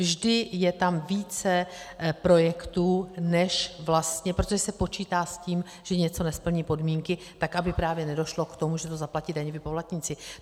Vždy je tam více projektů, než vlastně - protože se počítá s tím, že něco nesplní podmínky, tak aby právě nedošlo k tomu, že to zaplatí daňoví poplatníci.